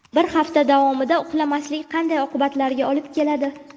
Bir hafta davomida uxlamaslik qanday oqibatlarga olib keladi?.